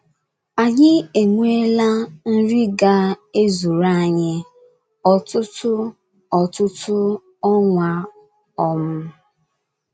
Anyị enweela nri ga - ezuru anyị ọtụtụ ọtụtụ ọnwa. um